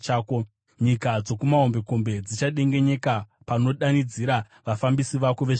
Nyika dzokumahombekombe dzichadengenyeka panodanidzira vafambisi vako vezvikepe.